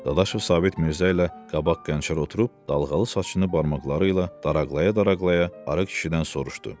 Dadaşov Sabit Mirzə ilə qabaq qənçədə oturub dalğalı saçını barmaqları ilə daraqlaya-daraqlaya arıq kişidən soruşdu.